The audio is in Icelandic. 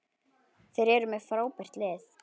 Þeir eru með frábært lið.